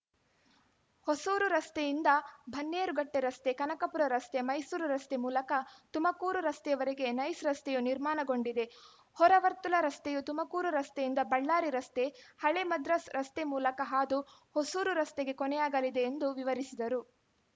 ಹೊಸೂರು ರಸ್ತೆಯಿಂದ ಬನ್ನೇರುಘಟ್ಟೆ ರಸ್ತೆ ಕನಕಪುರ ರಸ್ತೆ ಮೈಸೂರು ರಸ್ತೆ ಮೂಲಕ ತುಮಕೂರು ರಸ್ತೆವರೆಗೆ ನೈಸ್‌ ರಸ್ತೆಯು ನಿರ್ಮಾಣಗೊಂಡಿದೆ ಹೊರವರ್ತುಲ ರಸ್ತೆಯು ತುಮಕೂರು ರಸ್ತೆಯಿಂದ ಬಳ್ಳಾರಿ ರಸ್ತೆ ಹಳೇ ಮದ್ರಾಸ್‌ ರಸ್ತೆ ಮೂಲಕ ಹಾದು ಹೊಸೂರು ರಸ್ತೆಗೆ ಕೊನೆಯಾಗಲಿದೆ ಎಂದು ವಿವರಿಸಿದರು